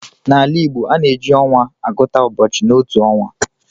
N'ala Igbo, a na-eji ọnwa agụta ụbọchị n'otu ọnwa